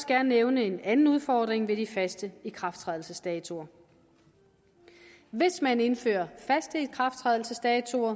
gerne nævne en anden udfordring ved de faste ikrafttrædelsesdatoer hvis man indfører faste ikrafttrædelsesdatoer